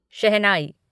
शहनाई